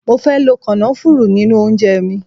Mo fe lo kònáfùrù ninu ounje mi